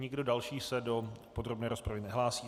Nikdo další se do podrobné rozpravy nehlásí.